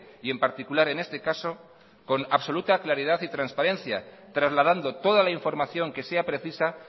y en particular en este caso con absoluta claridad y transparencia trasladando toda la información que sea precisa